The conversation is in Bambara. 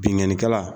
Bingani kɛla